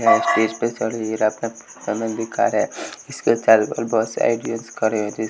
Stage पे चड़ी है और अपना इसके चारो बगल बहोत से खड़े हैं।